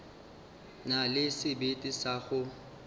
na le sebete sa go